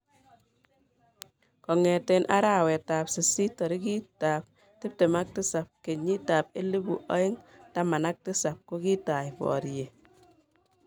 Kongete arawet ab sist tarik ab tiptem ak tisap, kenyit ab elpu aeng taman ak tisap kokitai bariet.